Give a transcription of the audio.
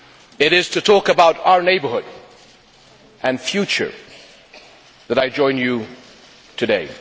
It is to talk about our neighbourhood and future that I join you today.